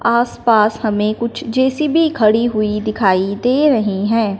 आस पास हमें कुछ जे_सी_बी खड़ी हुई दिखाई दे रही हैं।